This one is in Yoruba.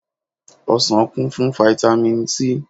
Ọsàn kún fún fáítámì C.